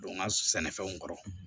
Don n ka sɛnɛfɛnw kɔrɔ